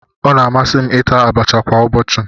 Ọ na-amasị m ita abacha kwa ụbọchị.